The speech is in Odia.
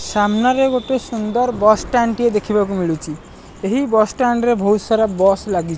ସାମ୍ନାରେ ଗୋଟେ ସୁନ୍ଦର ବସ୍ ଷ୍ଟାଣ୍ଡ ଟେ ଦେଖିବାକୁ ମିଳୁଛି। ଏହି ବସ୍ ଷ୍ଟଣ୍ଡରେ ବୋହୁତ ସାରା ବସ୍ ଲାଗିଛି।